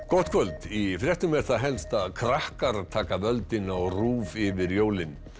gott kvöld í fréttum er það helst að krakkar taka völdin og RÚV yfir jólin